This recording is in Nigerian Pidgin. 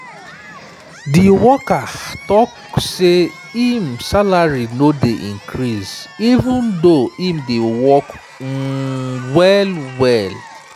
di worker dey vex say im salary no dey increase even though im dey work um well-well.